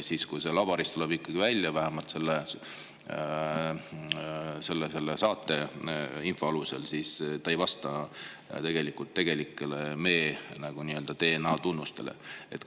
Aga laboris tuleb ikkagi välja, vähemalt selle saate info alusel, et selle ei vasta mee DNA tunnustele.